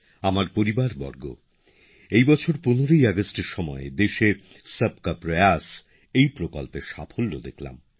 আমার পরিবারবর্গ এই বছর ১৫ ই আগস্ট এর সময় দেশে সবকা প্রয়াস প্রকল্পের সাফল্য দেখলাম